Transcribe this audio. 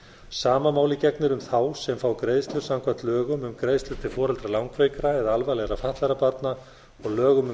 sama máli gegnir um þá sem fá greiðslur samkvæmt lögum um greiðslur til foreldra langveikra eða alvarlega fatlaðra barna og lögum